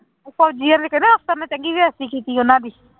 ਉਹ ਫ਼ੋਜ਼ੀਆਂ ਦੇ ਕਹਿੰਦੇ ਅਫ਼ਸਰ ਨੇ ਚੰਗੀ ਬੇਇੱਜਤੀ ਕੀਤੀ ਉਹਨਾਂ ਦੀ।